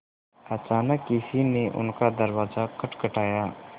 अचानक किसी ने उनका दरवाज़ा खटखटाया